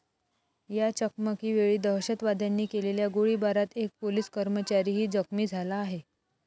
या चकमकीवेळी दहशतवाद्यांनी केलेल्या गोळीबारात एक पोलिस कर्मचारही जखमी झाला आहे.